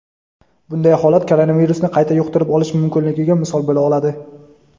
bunday holat koronavirusni qayta yuqtirib olish mumkinligiga misol bo‘la oladi.